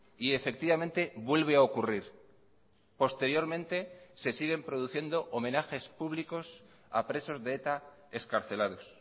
y efectivamente vuelve a ocurrir posteriormente se siguen produciendo homenajes públicos a presos de eta excarcelados